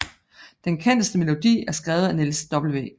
Den kendeste melodi er skrevet af Niels W